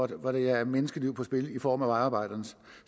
der hvor der er menneskeliv på spil i form af vejarbejdernes